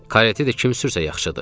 Karetdə də kimsə yaxşıdır.